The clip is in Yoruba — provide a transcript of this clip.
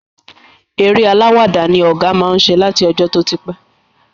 Eré alàwàdá ni ọ̀gá má ń ṣe láti ọjọ́ tó ti pẹ́